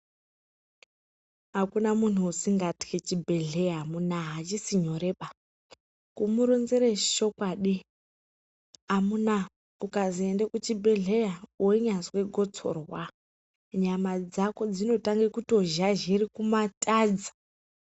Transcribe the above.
Akuna munhu usingathyi vchibhedhleya amunaa, achisi nyoreba. Kumuronzere chokwadi, amunaa, ukazi ende kuchibhedhleya, weinyazwe gotsorwa, nyama dzako dzinotange kutozhazhire kumatadza.